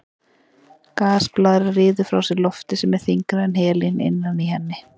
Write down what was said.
Gasblaðra ryður frá sér lofti sem er þyngra en helínið innan í henni.